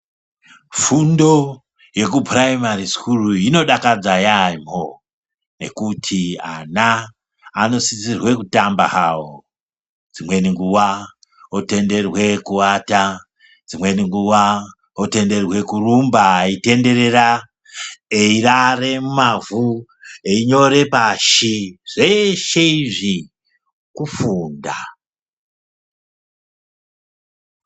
Fundo yekupuraimari sukuru inodakadza yaamho, nekuti ana anosisirwe kutamba havo. Dzimweni nguva otenderwe kuvata, dzimweni nguva otenderwe kurumba aitenderera eirare mumavhu, einyore pashi zveshe izvi kufunda.